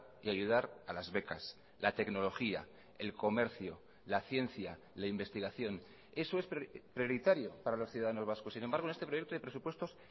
y ayudar a las becas la tecnología el comercio la ciencia la investigación eso es prioritario para los ciudadanos vascos sin embargo en este proyecto de presupuestos